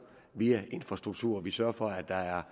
via infrastrukturen vi sørger for at der er